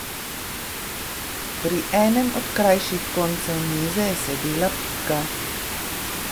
Pri enem od krajših koncev mize je sedela Pika.